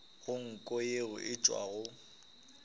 go nko ye e tšwago